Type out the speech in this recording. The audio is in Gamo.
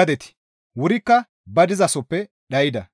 gadeti wurikka ba dizasoppe dhayda.